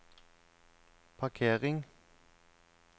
parkering